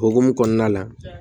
O hokumu kɔnɔna la